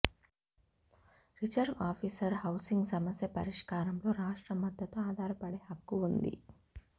reserve officer housing సమస్య పరిష్కారం లో రాష్ట్ర మద్దతు ఆధారపడే హక్కు ఉంది